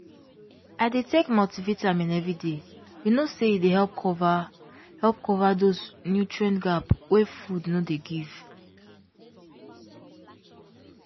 i dey take multivitamin every day you know say e dey help cover help cover those nutrient gap wey food no dey give